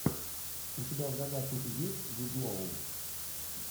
у тебя в загашнике есть джуд лоу